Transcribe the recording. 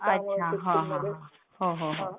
अच्छा, हां हां, हो हो